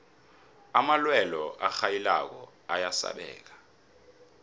amalwelwe arhayilako ayasabeka